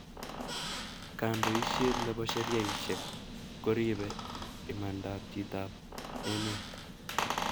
kandoishet ne bo sheriasheck ko ripee imandaab chitoab emet